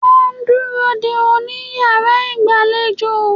Wọ́n ń dúró dè ó ní iyàrá ìgbàlejò